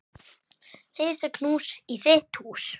Risa knús í þitt hús.